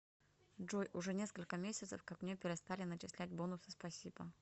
джой уже несколько месяцев как мне перестали начислять бонусы спасибо